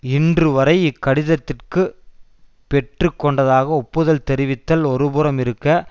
இன்று வரை இக்கடிதத்திற்கு பெற்று கொண்டதாக ஒப்புதல் தெரிவித்தல் ஒருபுறம் இருக்க